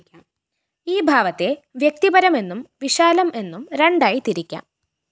ഈ ഭാവത്തെ വ്യക്തിപരം എന്നും വിശാലം എന്നും രണ്ടായി തിരിക്കാം